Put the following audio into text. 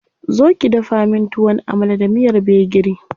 Zo ki dafa min Tuwon Amala da miyar gbegiri.